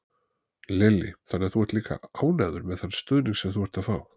Lillý: Þannig að þú ert líka ánægður með þann stuðning sem þú ert að fá?